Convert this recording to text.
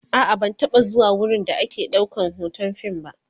a'a ban taba zuwa wurin da ake ɗaukan be Hoton fim ba